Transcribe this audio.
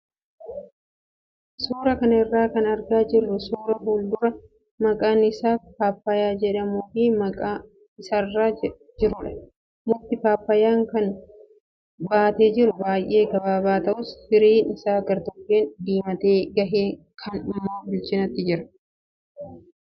Suuraa kana irraa kan argaa jirru suuraa fuduraa maqaan isaa pappaayaa jedhamuu fi muka isaarra jirudha. Mukti pappaayaa kana baatee jiru baay'ee gabaabaa ta'us fiirin isaa gartokkeen diimatee gahee kaan immoo bilchinatti jira.